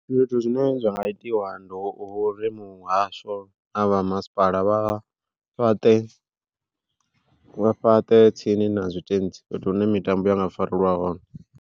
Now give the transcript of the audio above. Zwithu zwine zwa nga itiwa ndi vhori muhasho na vha masipala vha fhaṱe, fhaṱe tsini na zwitentsi fhethu hune mitambo ya nga farelwa hone.